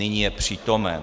Nyní je přítomen.